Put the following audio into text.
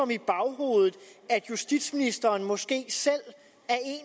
i baghovedet at justitsministeren måske selv